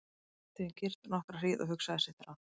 Hann sat því um kyrrt nokkra hríð og hugsaði sitt ráð.